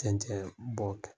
Tɛncɛn bɔ kɛ.